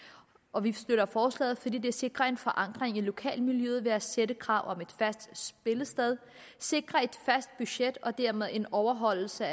og vi støtter forslaget fordi det sikrer en forankring i lokalmiljøet ved at stille krav om et fast spillested sikrer et fast budget og dermed sikrer en overholdelse